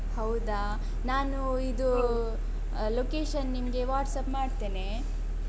ಹೌದಾ, ನಾನು ಇದೂ location ನಿಂಗೆ WhatsApp ಮಾಡ್ತೇನೆ ಹ.